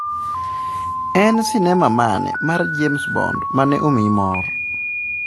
En sinema mane mar James Bond mane omiyi mor?